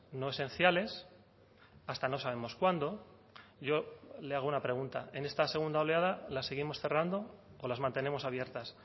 no esenciales hasta no sabemos cuándo yo le hago una pregunta en esta segunda oleada las seguimos cerrando o las mantenemos abiertas